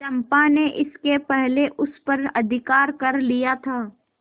चंपा ने इसके पहले उस पर अधिकार कर लिया था